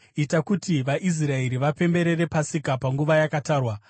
“Ita kuti vaIsraeri vapemberere Pasika panguva yakatarwa.